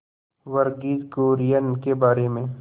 वर्गीज कुरियन के बारे में